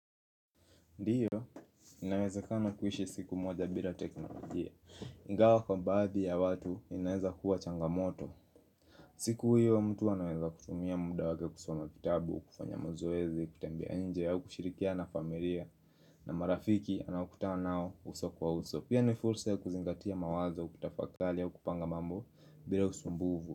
Ndio, inawezakana kuishi siku moja bila teknolojia, ingawa kwa baadhi ya watu inaweza kuwa changamoto siku hiyo, mtu anaweza kutumia muda wake kusoma vitabu, kufanya mazoezi, kutembea nje au kushirikiana na familia na marafiki anaokutanao uso kwa uso, pia ni fursa ya kuzingatia mawazo kutafakali au kupanga mambo bila usumbuvu.